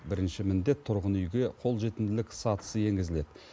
бірінші міндет тұрғын үйге қолжетімділік сатысы енгізіледі